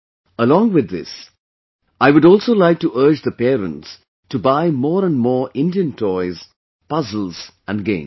Along with this, I would also like to urge the parents to buy more and more Indian Toys, Puzzles and Games